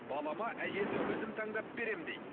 балама әйелді өзім таңдап беремін дейді